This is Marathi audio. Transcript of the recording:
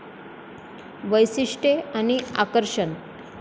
वैशिष्ट्ये आणि आकर्षण